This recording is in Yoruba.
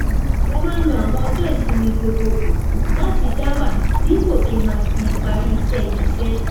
mo máa ń lo àwọn ọjó ìsinmi gbogboogbò láti dá wà dípò kí n máa fi parí iṣé ibiiṣẹ